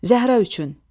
Zəhra üçün.